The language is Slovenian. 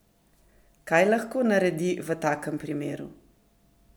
Kaj lahko naredi v takem primeru?